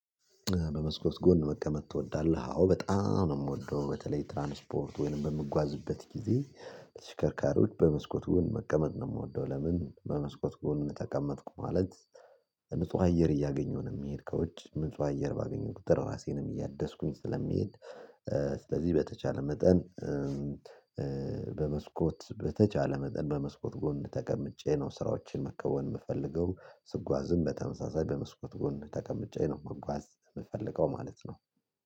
በመስኮት ጎን መቀመጥ ትወዳለህ አዎ በጣም ነው የምወደው። በተለይ ትራንስፖርት ወይንም በምጓዝበት ጊዜ ሽከርካሪዎች በመስኮት ጎን መቀመጥ ነው የምወደው። ለምን በመስኮት ጎን ተቀመጥኩ ማለት ንጹህ አየር እያገኘሁ ነው የምሄድከ ከውጭ። ንጹህ አየር ባገኘሁ ቁጥር ራሴንም እያደስኩኝ ስለሚሄድ ስለዚህ በተቻለ መጠን በመስኮት በተቻለ መጠን በመስኮት ጎን ተቀምጬ ነው ስራዎችን መከወን የምፈልገው ስጓዝም በተመሳሳይ በመስኮት ጎን ተቀምጬ ነው መጓዝ የምፈልገው ማለት ነው።